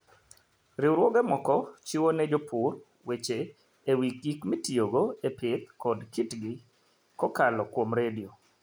Riwruoge moko chiwo ne jopur weche e wi gik mitiyogo e pidho kod kitgi kokalo kuom redio.